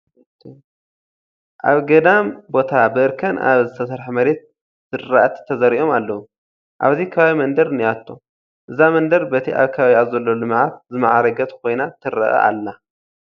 ኣብ ገዳም ቦታ ብእርከን ኣብ ዝተሰርሐ መሬት ዝራእቲ ተዘሪኦም ኣለዉ፡፡ ኣብዚ ከባቢ መንደር እኔቶ፡፡ እዛ መንደር በቲ ኣብ ከባቢኣ ዘሎ ልምዓት ዝማዕረገት ኮይና ትርአ ኣላ፡፡